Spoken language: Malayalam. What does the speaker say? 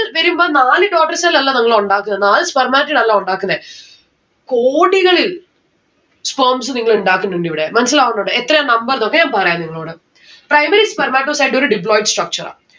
വരുമ്പോ നാല് total cell അല്ല ഇതുങ്ങള് ഉണ്ടാക്കുന്നത്. നാല് spermatocele അല്ല ഉണ്ടാക്കുന്നെ. കോടികള് sperms നിങ്ങള് ഇണ്ടാക്കുന്നുണ്ട് ഇവിടെ. മനസ്സലാവുന്നുണ്ടോ എത്രയാ number ന്നൊക്കെ ഞാൻ പറയാ നിങ്ങളോട് primary spermatocyte and deployed structure